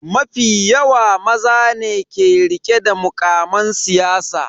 Mafi yawa maza ne ke rike da mukaman siyasa.